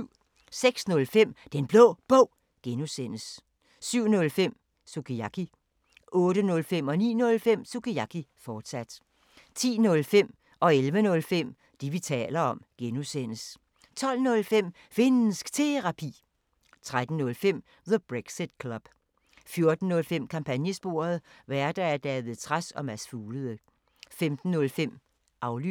06:05: Den Blå Bog (G) 07:05: Sukiyaki 08:05: Sukiyaki, fortsat 09:05: Sukiyaki, fortsat 10:05: Det, vi taler om (G) 11:05: Det, vi taler om (G) 12:05: Finnsk Terapi 13:05: The Brexit Club 14:05: Kampagnesporet: Værter: David Trads og Mads Fuglede 15:05: Aflyttet